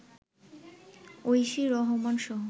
Oishi রহমানসহ